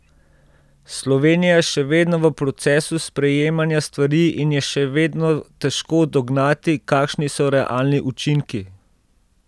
Slovenija je še vedno v procesu sprejemanja stvari in je še vedno težko dognati, kakšni so realni učinki.